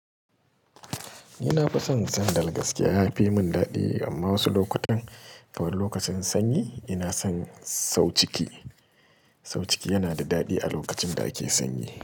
Ina fison sandal gaskiya ya fi mun dadi amma wasu lokutan kamar lokacin sanyi ina son sau ciki. Sau ciki yana da dadi a lokacin da ake sanyi.